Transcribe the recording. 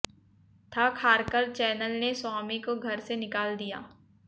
थक हारकर चैनल ने स्वामी को घर से निकाल दिया